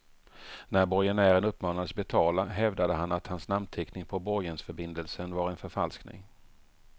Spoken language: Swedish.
När borgenären uppmanades betala hävdade han att hans namnteckning på borgensförbindelsen var en förfalskning.